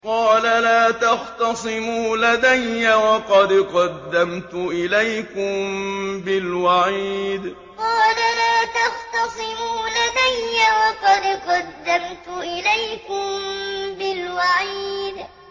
قَالَ لَا تَخْتَصِمُوا لَدَيَّ وَقَدْ قَدَّمْتُ إِلَيْكُم بِالْوَعِيدِ قَالَ لَا تَخْتَصِمُوا لَدَيَّ وَقَدْ قَدَّمْتُ إِلَيْكُم بِالْوَعِيدِ